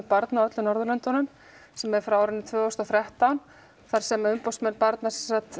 barna á öllum Norðurlöndunum sem er frá árinu tvö þúsund og þrettán þar sem umboðsmenn barna